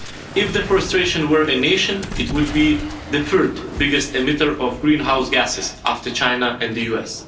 If deforestation were a nation, it would be the third biggest emitter of greenhouse gases after China and the